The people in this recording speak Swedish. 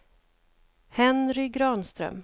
Henry Granström